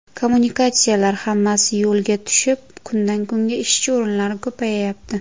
Kommunikatsiyalar hammasi yo‘lga tushib, kundan-kunga ishchi o‘rinlari ko‘payapti.